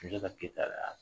Sunjata Keyita de